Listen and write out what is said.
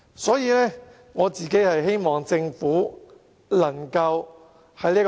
所以，我希望政府三思。